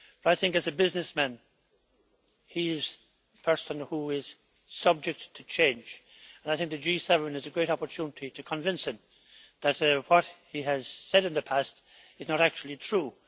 But I think that, as a businessman, he is person who is subject to change, and I think the G7 is a great opportunity to convince him that what he has said in the past is not actually true.